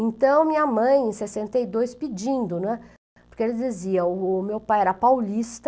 Então minha mãe, em sessenta e dois, pedindo, né, porque eles diziam, o meu pai era paulista,